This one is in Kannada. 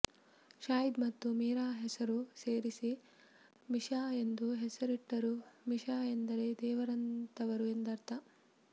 ಶಾಹೀದ್ ಮತ್ತು ಮೀರಾ ಹೆಸರು ಸೇರಿಸಿ ಮಿಶಾ ಎಂದು ಹೆಸರಿಟ್ಟರೂ ಮಿಶಾ ಎಂದರೆ ದೇವರಂತವರು ಎಂದರ್ಥ